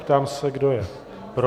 Ptám se, kdo je pro.